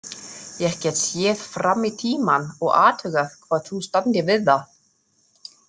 Ég get séð fram í tímann og athugað hvort þú standir við það